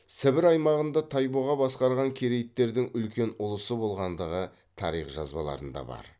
сібір аймағында тайбұға басқарған керейттердің үлкен ұлысы болғандығы тарих жазбаларында бар